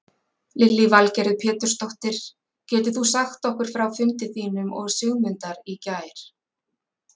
Lillý Valgerður Pétursdóttir: Getur þú sagt okkur frá fundi þínum og Sigmundar í gær?